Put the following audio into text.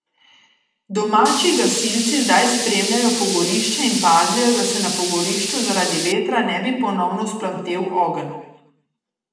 Domači gasilci zdaj spremljajo pogorišče in pazijo, da se na pogorišču zaradi vetra ne bi ponovno vzplamtel ogenj.